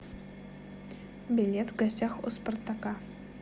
билет в гостях у спартака